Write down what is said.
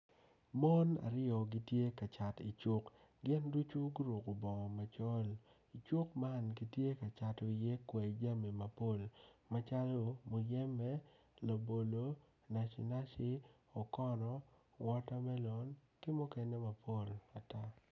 Mon aryo gitye ka cat icuk gin ducu guruku bongo macol icuk man gitye ka cato iye kwayi jami mapol macalo muyeme labolo naci naci okono wota melon ki mukene mapol ata